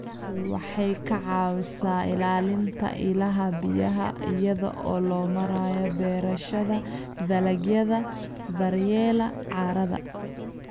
Waxay ka caawisaa ilaalinta ilaha biyaha iyada oo loo marayo beerashada dalagyada daryeela carrada.